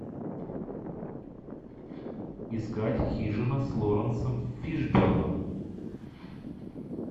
искать хижина с лоренсом фишберном